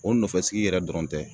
O nɔfɛsigi yɛrɛ dɔrɔn tɛ